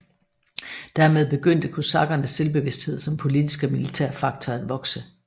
Dermed begyndte kosakkernes selvbevidsthed som politisk og militær faktor at vokse